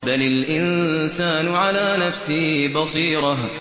بَلِ الْإِنسَانُ عَلَىٰ نَفْسِهِ بَصِيرَةٌ